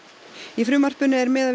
í frumvarpinu er miðað